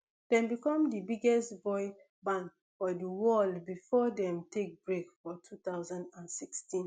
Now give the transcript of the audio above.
dem become di biggest boy band for di world before dem take break for two thousand and sixteen